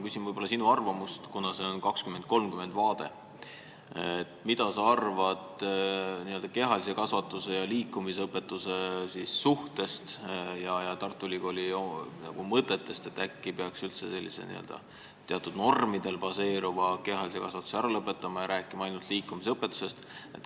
Kuna meil on ees 2030. aasta vaade, siis ma küsin sinu arvamust kehalise kasvatuse ja liikumisõpetuse suhte ning Tartu Ülikooli mõtete kohta, et äkki peaks üldse teatud normidel baseeruva kehalise kasvatuse ära lõpetama ja ainult liikumisõpetusest rääkima.